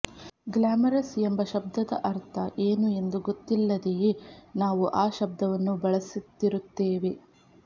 glamorous ಎಂಬ ಶಬ್ದದ ಅರ್ಥ ಏನು ಎಂದು ಗೊತ್ತಿಲ್ಲದೆಯೇ ನಾವು ಆ ಶಬ್ದವನ್ನು ಬಳಸುತ್ತಿರುತ್ತೇವೆ